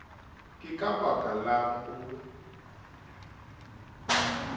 ke ka baka lang o